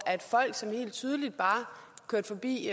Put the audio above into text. folk som helt tydeligt bare kørte forbi